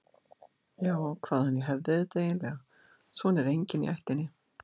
Já, hvaðan ég hefði þetta eiginlega, svona er enginn í ættinni.